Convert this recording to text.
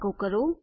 એકો કરો